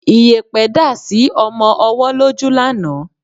Iyẹ̀pẹ̀ dá sí ọmọ ọwọ́ lójú lánàá